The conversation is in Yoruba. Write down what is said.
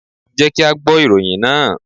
Jẹ́ kí á gbọ́ ìròyìn náà.